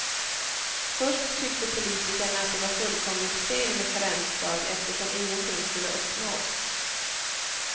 Först tyckte politikerna att det var fullkomligt fel med karensdag eftersom ingenting skulle uppnås.